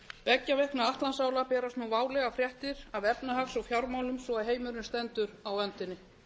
beggja vegna atlantsála berast nú válegar fréttir af efnahags og fjármálum svo heimurinn stendur á öndinni